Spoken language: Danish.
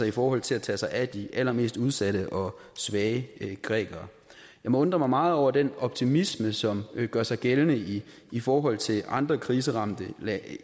i forhold til at tage sig af de allermest udsatte og svage grækere jeg må undre mig meget over den optimisme som gør sig gældende i i forhold til andre kriseramte